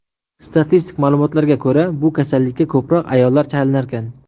Statistik ma’lumotlarga ko‘ra, bu kasallikka ko‘proq ayollar chalinarkan.